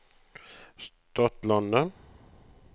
Stadlandet